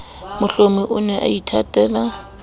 mohlomi o ne a ithatela